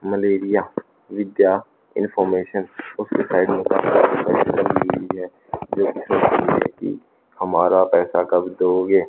malaria विद्या information उसके side में हमारा पैसा कब दोगे--